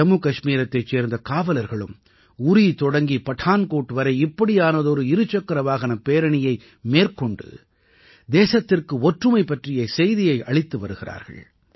ஜம்முகஷ்மீரத்தைச் சேர்ந்த காவலர்களும் உரீ தொடங்கி படான்கோட் வரை இப்படியானதொரு இரு சக்கர வாகனப் பேரணியை மேற்கொண்டு தேசத்திற்கு ஒற்றுமை பற்றிய செய்தியை அளித்து வருகிறார்கள்